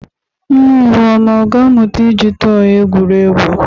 Nwa Ihuoma ọ ga-amụta iji tọị egwuri egwu?